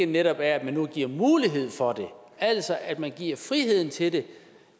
netop at man nu giver mulighed for det altså at man giver friheden til det